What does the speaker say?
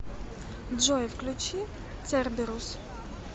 джой включи церберус